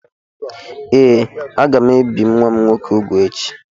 Ee, aga m ebi nwa nwoke m úgwù echi